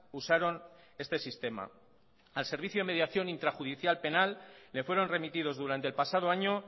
usaron este sistema al servicio de mediación intrajudicial penal le fueron remitidos durante el pasado año